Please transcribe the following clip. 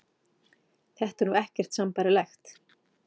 Þetta er nú ekkert sambærilegt